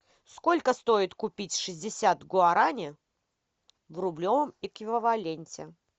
сколько стоит купить шестьдесят гуарани в рублевом эквиваленте